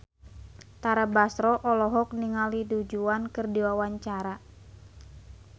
Tara Basro olohok ningali Du Juan keur diwawancara